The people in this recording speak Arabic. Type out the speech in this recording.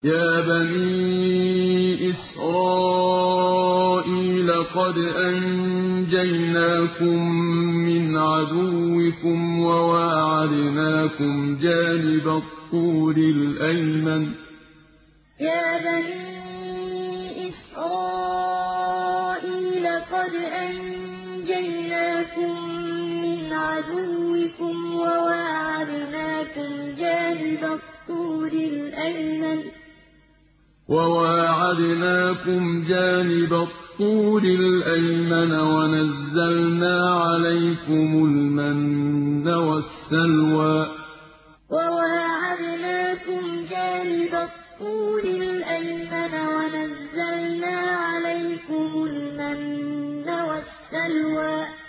يَا بَنِي إِسْرَائِيلَ قَدْ أَنجَيْنَاكُم مِّنْ عَدُوِّكُمْ وَوَاعَدْنَاكُمْ جَانِبَ الطُّورِ الْأَيْمَنَ وَنَزَّلْنَا عَلَيْكُمُ الْمَنَّ وَالسَّلْوَىٰ يَا بَنِي إِسْرَائِيلَ قَدْ أَنجَيْنَاكُم مِّنْ عَدُوِّكُمْ وَوَاعَدْنَاكُمْ جَانِبَ الطُّورِ الْأَيْمَنَ وَنَزَّلْنَا عَلَيْكُمُ الْمَنَّ وَالسَّلْوَىٰ